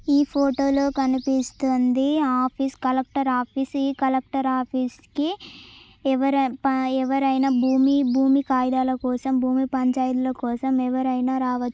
ఈ ఫొటో లో కనిపిస్తున్నది ఆఫీస్ కలెక్టర్ ఆఫీస్ ఈ కలెక్టర్ ఆఫీస్ కి ఎవరన్నా భూమి భూమి కాగితాలకోసం భూమి పంచాయితీల కోసం ఎవరినా రావ --